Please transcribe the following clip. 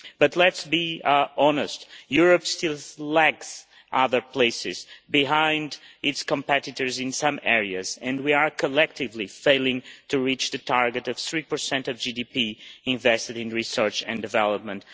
But let us be honest Europe still lags behind other places, behind its competitors in some areas, and we are collectively failing to reach the target of 3 of GDP invested in research and development.